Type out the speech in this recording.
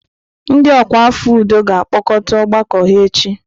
Ndị ọkwa afọ udo ga-akpọkọta ọgbakọ ha echi.